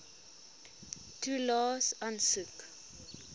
toelaes aansoek